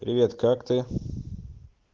привет как ты